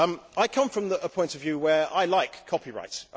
I come from a point of view where I like copyright.